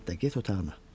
Alyatda get otağına.